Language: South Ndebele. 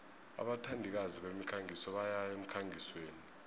abathandikazi bemikhangiso bayaya emkhangisweni